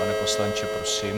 Pane poslanče, prosím.